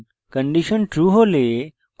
কোঁকড়া বন্ধনী খুলুন